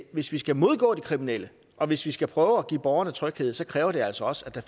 hvis vi skal modgå de kriminelle og hvis vi skal prøve at give borgerne tryghed så kræver det altså også at der